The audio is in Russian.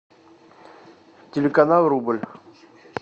телеканал рубль